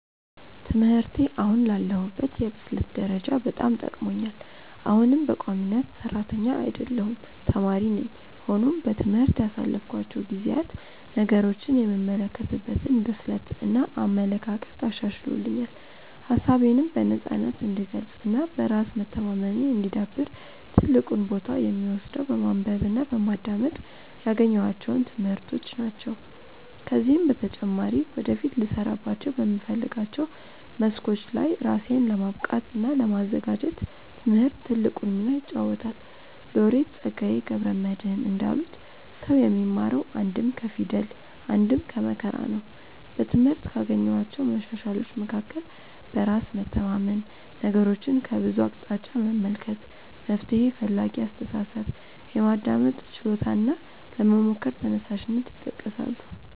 ትምህርቴ አሁን ላለሁበት የብስለት ደረጃ በጣም ጠቅሞኛል። አሁንም በቋሚነት ሰራተኛ አይደለሁም ተማሪ ነኝ። ሆኖም በትምህርት ያሳለፍኳቸው ጊዜያት ነገሮችን የምመለከትበትን ብስለት እና አመለካከት አሻሽሎልኛል። ሀሳቤነም በነፃነት እንድገልፅ እና በራስ መተማመኔ እንዲዳብር ትልቁን ቦታ የሚወስደው በማንበብ እና በማዳመጥ ያገኘኋቸው ትምህርቶች ናቸው። ከዚህም በተጨማሪ ወደፊት ልሰራባቸው በምፈልጋቸው መስኮች ላይ ራሴን ለማብቃት እና ለማዘጋጀት ትምህርት ትልቁን ሚና ይጫወታል። ሎሬት ፀጋዬ ገብረ መድህን እንዳሉት "ሰው የሚማረው አንድም ከፊደል አንድም ከመከራ ነው"።በትምህርት ካገኘኋቸው መሻሻሎች መካከል በራስ መተማመን፣ ነገሮችን ከብዙ አቅጣጫ መመልከት፣ መፍትሔ ፈላጊ አስተሳሰብ፣ የማዳመጥ ችሎታ እና ለመሞከር ተነሳሽነት ይጠቀሳሉ።